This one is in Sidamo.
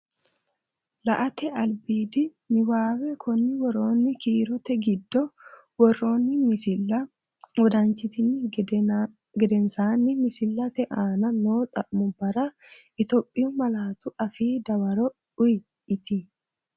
La”ate albiidi niwaawe Konni woroonni kiirote giddo worroonni misilla wodanchitini geden saanni misillate aante noo xa’mubbara Itophiyu malaatu afiinni dawaro uuyye, iti?